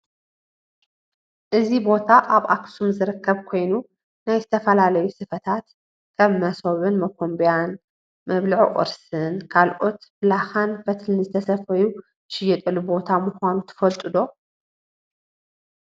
እዚ ቦታ ኣብ ከተማ ኣክሱም ዝርከብ ኮይኑ ናይ ዝተፈላለዩ ስፈታት ከም መሶብን መኮንቢያ፣ መብልዒ ቁርሲን ካልኦትን ብላካን ፈትልን ዝተሰፈዩ ዝሽየጠሉ ቦታ ምኳኑ ትፈልጡ ዶ ?